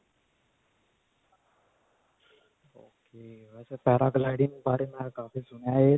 ok. ਵੈਸੇ paragliding gliding ਬਾਰੇ ਮੈਂ ਕਾਫੀ ਸੁਣਿਆ ਹੈ ਇਹ.